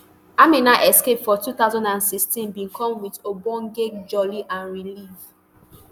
amina escape for two thousand and sixteen bin come wit ogbonge jolly and relief